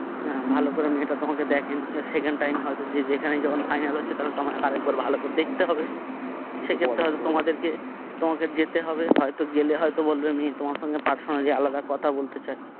হ্যা ভালো করে মেয়েটা তোমাকে দেখেনি এবার second time হয়তো যে যেখানেই যখন final হচ্ছে তাহলে তোমাকে আরেকবার ভালো করে দেখতে হবে সেক্ষেত্রে হয়তো তোমাদেরকে তোমাকে যেতে হবে হয়তো জেলে হয়তো বলবে মেয়ে তোমার সঙ্গে personally আলাদা কথা বলতে চায়